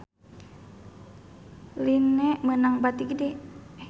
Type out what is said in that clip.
Line meunang bati gede